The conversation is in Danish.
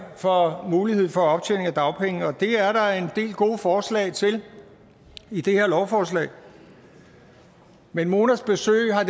for muligheden for optjening af dagpenge det er der en del gode forslag til i det her lovforslag men monas besøg har